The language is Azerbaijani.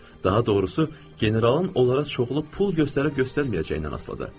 Daha doğrusu, generalın onlara çoxlu pul göstərib göstərməyəcəyindən asılıdır.